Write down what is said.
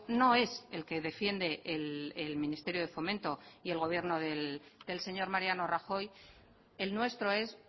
no es el que defiende el ministerio de fomento y el gobierno del señor mariano rajoy el nuestro es